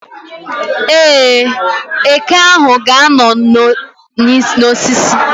Ee, eke ahụ ga-anọ n' osisi